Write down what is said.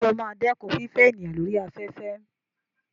Sọ ma dẹ́kun fífẹ́ èèyàn lórí afẹ́fẹ́?